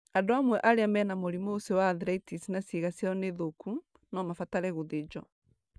Andũ amwe arĩa mena mũrimũ ũcio wa arthritis na ciĩga ciao nĩ thũku, no mabatare gũthĩnjwo.